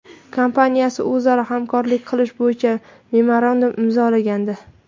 kompaniyasi o‘zaro hamkorlik qilish bo‘yicha memorandum imzolagandi .